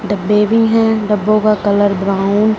डब्बे भी है डब्बों का कलर ब्राउन --